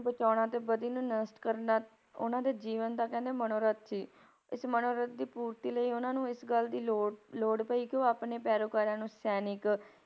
ਬਚਾਉਣਾ ਅਤੇ ਬਦੀ ਨੂੰ ਨਸ਼ਟ ਕਰਨਾ ਉਹਨਾਂ ਦੇ ਜੀਵਨ ਦਾ ਕਹਿੰਦੇ ਮਨੋਰਥ ਸੀ, ਇਸ ਮਨੋਰਥ ਦੀ ਪੂਰਤੀ ਲਈ ਉਹਨਾਂ ਨੂੰ ਇਸ ਗੱਲ ਦੀ ਲੋੜ ਲੋੜ ਪਈ ਕਿ ਉਹ ਆਪਣੇ ਪੈਰੋਕਾਰਾਂ ਨੂੰ ਸੈਨਿਕ,